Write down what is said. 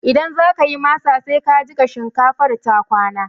Idan zakayi masa, sai ka jiƙa shinkafar ta kwana